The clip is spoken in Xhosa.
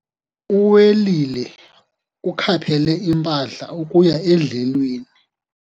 Uwelile ukhaphele impahla ukuya edlelweni.